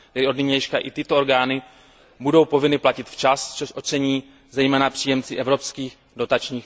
Tedy od nynějška i tyto orgány budou povinny platit včas, což ocení zejména příjemci evropských dotací.